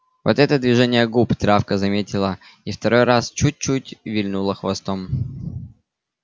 вот это движение губ травка заметила и второй раз чуть-чуть вильнула хвостом